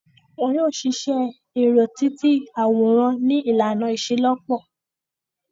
Wọn yoo ṣiṣẹ ẹrọ-ti-ti-aworan ni ilana iṣelọpọ